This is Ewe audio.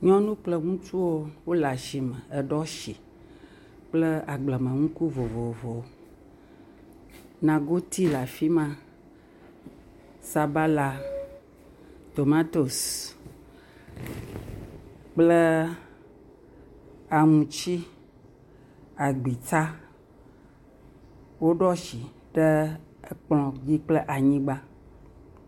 Nyɔnu kple ŋutsuwo wole asime eɖo asi kple agblenuku vovovowo, nagoti le afi ma, sabala, tomatosi, kple aŋuti, agbitsa, woɖo asi ɖe akplɔ dzi kple anyigba.